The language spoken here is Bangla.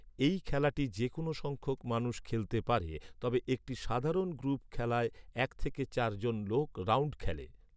এই খেলাটি যে কোনও সংখ্যক মানুষ খেলতে পারে, তবে একটি সাধারণ গ্রুপ খেলায় এক থেকে চার জন লোক, রাউন্ড খেলে।